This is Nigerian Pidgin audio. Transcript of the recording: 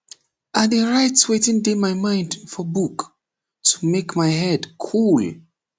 i dey write wetin dey my mind for book to make my head cool